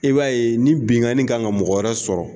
E b'a ye ni binkani kan ka mɔgɔ wɛrɛ sɔrɔ